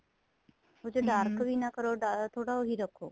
ਉਹ ਚ dark ਵੀ ਨਾ ਕਰੋ ਜਿਆਦਾ ਥੋੜਾ ਉਹੀ ਰੱਖੋ